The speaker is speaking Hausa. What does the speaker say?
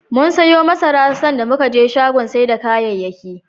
Mum siyo masara, sanda muka je shagon sai da kayayyaki.